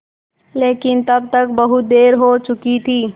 लेकिन तब तक बहुत देर हो चुकी थी